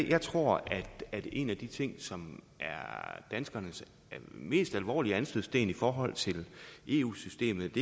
jeg tror at en af de ting som er danskernes mest alvorlige anstødssten i forhold til eu systemet